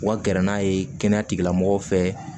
U ka gɛrɛ n'a ye kɛnɛya tigilamɔgɔw fɛ